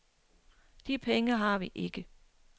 De penge har vi ikke.